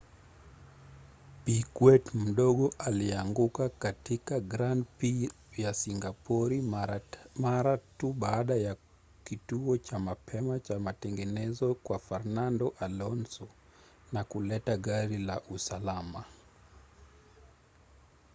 piquet mdogo alianguka katika grand prix ya singapori mara tu baada ya kituo cha mapema cha matengenezo kwa fernando alonso na kuleta gari la usalama